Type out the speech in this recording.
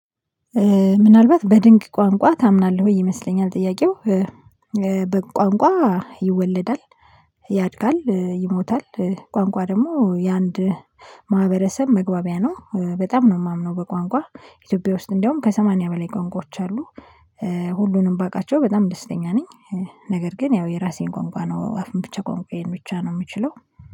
ምናልባት በድንቅ ቋንቋ ታምናለህ ወይ ይመስለኛል? ጥያቄው በቋንቋ ይወለዳል ያድጋል ይሞታል። ቋንቋ ደግሞ የአንድ ማህበረሰብ መግባቢያ ነው በጣም ነው። የማምነው በቋንቋ ኢትዮጵያ ውስጥ እንደውም ከሰማንያ በላይ ቋንቋዎች አሉ። ሁሉንም ባቃቸው በጣም ደስተኛ ነኝ። ነገር ግን ያው የራሴን ቋንቋ ነው አፍ መፍቻ ቋንቋዬን ብቻ ነው የምችለው።